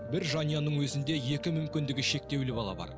бір жанұяның өзінде екі мүмкіндігі шектеулі бала бар